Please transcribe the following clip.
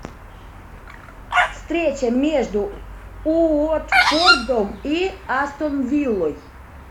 встреча между уотфордом и астон виллой